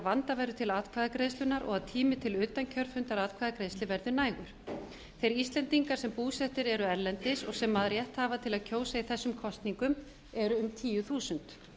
vanda verður til atkvæðagreiðslunnar og tími til utankjörfundaratkvæðagreiðslu verði nægur þeir íslendingar sem búsettir eru erlendis og sem rétt hafa til að kjósa í þessum kosningum eru um tíu þúsund